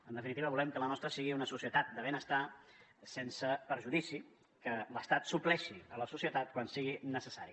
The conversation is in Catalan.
en definitiva volem que la nostra sigui una societat de benestar sense perjudici que l’estat supleixi la societat quan sigui necessari